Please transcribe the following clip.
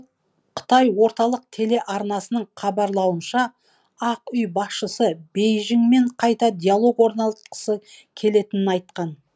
ал қытай орталық телеарнасының хабарлауынша ақ үй басшысы бейжіңмен қайта диалог орнатқысы келетінін айтқан